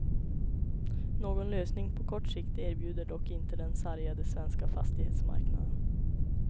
Någon lösning på kort sikt erbjuder dock inte den sargade svenska fastighetsmarknaden.